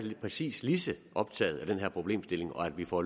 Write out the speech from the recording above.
præcis lige så optaget af den her problemstilling og af at vi får